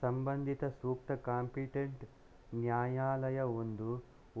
ಸಂಬಂಧಿತ ಸೂಕ್ತ ಕಾಂಪಿಟೆಂಟ್ ನ್ಯಾಯಾಲಯವೊಂದು